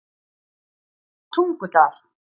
Tungudal